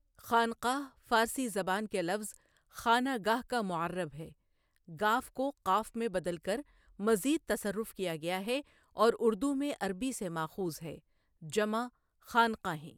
خانْقاہ فارسی زبان کے لفظ خانہ گاہ کا معّرب ہے، گ کو ق میں بدل کر مزید تصرف کیا گیا ہے اور اردو میں عربی سے ماخوذ ہے، جمع خانْقا ہیں ۔